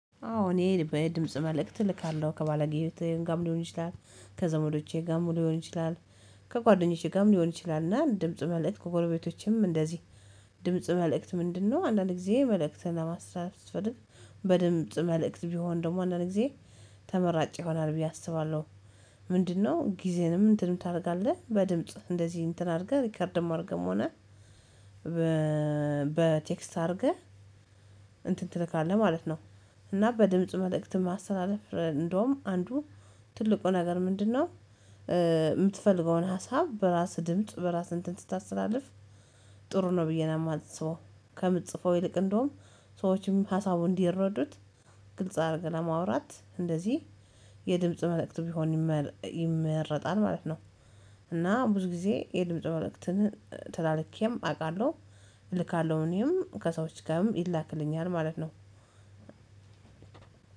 አዎ እኔ በድምጽ መልእክት እልካለሁ ከባለጌቴ ጋር ሊሆን ይችላል። ከዘመዶቼ ጋርም ሊሆን ይችላል። ከጓደኞቼ ጋርም ሊሆን ይችላልና ድምጽ መልእክት ከጎረቤቶቼም እንደዚህ። ድምጽ መልእክት ምንድነው አንዳንድ ጊዜ መልእክትን ለማስተላለፍ ስትፈልግ በድምጽ መልእክት ቢሆን ደግሞ አንዳንድ ጊዜ ተመራጭ ይሆናል ብዬ አስባለሁ። ምንድነው? ጊዜንም እንትንም ታደርጋለህ በድምጽ እንደዚህ እንትን አድርገህ ሪከርድም አርገም ሆነ በቴክስት አድርገህ እንትን ትልካለህ ማለት ነው። እና በድምጽ መልእክት ማሰተላለፍ እንደውም አንዱ ትልቁ ነገር ምንድነው? የምትፈልገውን ሀሳብ በራስ ድምጽ በራስ እንትን ስታስተላልፍ ጥሩ ነው ብዬ ነው የማስበው። ከምትጽፈው ይልቅ እንደውም ሰዎችም ሀሳቡ እንዲረዱት ግልጽ አድርገህ ለማውራት እንደዚህ የድምጽ መልእክት ቢሆን ይመረጣል ማለት ነው። እና ብዙ ጊዜ የልምጽ መልእክትን ተላልኬም አውቃለሁ እልካለሁ እኔም ከሰዎች ጋርም ይላክልኛል ማለት ነው።